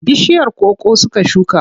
Bishiyar koko suka shuka.